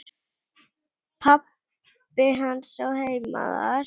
Pabbi hans á heima þar.